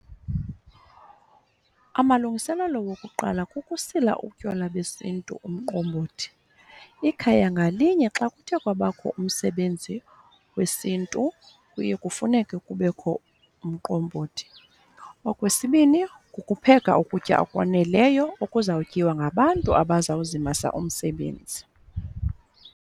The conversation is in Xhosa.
Amalungiselelo wokuqala kukusila utywala besiNtu umqombothi. Ikhaya ngalinye xa kuthe kwabakho umsebenzi wesiNtu kuye kufuneke kubekho umqombothi. Okwesibini, kukupheka ukutya okwaneleyo okuzawutyiwa ngabantu abazawuzimasa umsebenzi.